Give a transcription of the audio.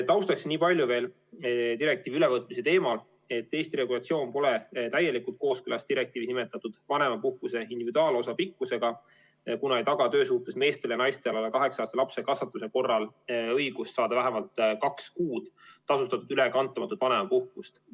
Taustaks veel niipalju direktiivi ülevõtmise teemal, et Eesti regulatsioon pole täielikult kooskõlas direktiivis nimetatud vanemapuhkuse individuaalosa pikkusega, kuna ei taga töösuhtes meestele ja naistele alla 8-aastase lapse kasvatamise korral õigust saada vähemalt kaks kuud tasustatud ülekantamatut vanemapuhkust.